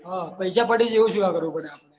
પૈસા પડી જઈ એવું શું કા કરવું પડે?